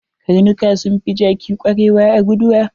Karnuka sun fi jaki kwarewa a guduwa.